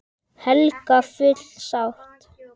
Helga: Full sátt?